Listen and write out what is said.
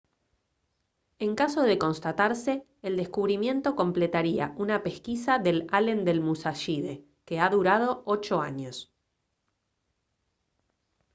en caso de constatarse el descubrimiento completaría una pesquisa del allen del musashide que ha durado ocho años